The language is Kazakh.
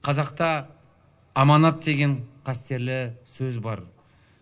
қазақта аманат деген қастерлі сөз бар